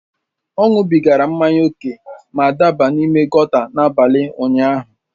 Ọ ṅụbigara mmanya ókè ma daba n’ime gòta n’abalị ụnyaahụ.